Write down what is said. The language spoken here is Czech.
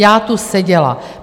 Já tu seděla.